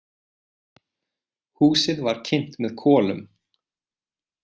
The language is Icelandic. Húsið var kynt með kolum.